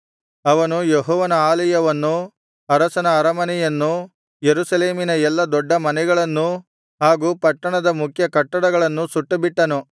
ಅವನು ಯೆಹೋವನ ಆಲಯವನ್ನೂ ಅರಸನ ಅರಮನೆಯನ್ನೂ ಯೆರೂಸಲೇಮಿನ ಎಲ್ಲಾ ದೊಡ್ಡ ಮನೆಗಳನ್ನೂ ಹಾಗೂ ಪಟ್ಟಣದ ಮುಖ್ಯ ಕಟ್ಟಡಗಳನ್ನೂ ಸುಟ್ಟುಬಿಟ್ಟನು